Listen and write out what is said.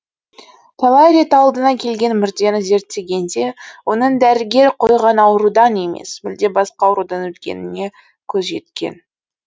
талай рет алдына келген мүрдені зерттегенде оның дәрігер қойған аурудан емес мүлде басқа аурудан өлгеніне көзі жеткен